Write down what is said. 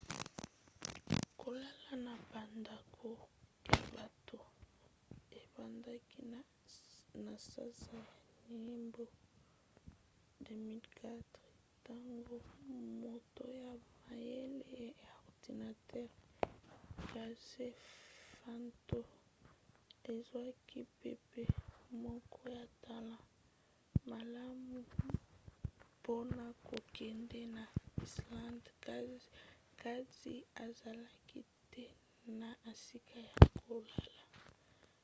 kolalalala na bandako ya bato ebandaki na sanza ya yambo 2004 ntango moto ya mayele ya ordinatere casey fenton azwaki mpepo moko ya talo malamu mpona kokende na islande kasi azalaki te na esika ya kolala